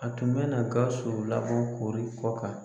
A tun bɛna Gawusu labɔ koori kɔkan